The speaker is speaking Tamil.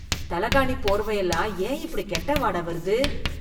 தலகாணி, போர்வை எல்லாம் ஏன் இப்படி கெட்ட வாட வருது?